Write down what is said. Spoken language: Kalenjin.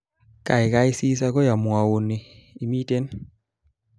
Kaikai sis akoi amwouni imeten